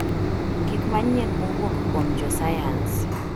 Gik Manyien Mowuok Kuom Josayans